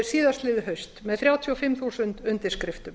síðastliðið haust með þrjátíu og fimm þúsund undirskriftum